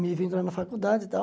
me lá na faculdade e tal.